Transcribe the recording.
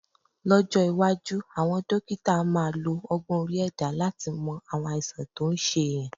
Lọ́jọ́ iwájú, àwọn dókítà á máa lo ọgbọ́n orí ẹ̀dá láti mọ àwọn àìsàn tó ń ṣe èèyàn